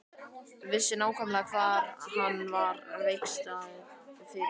Vissi nákvæmlega hvar hann var veikastur fyrir.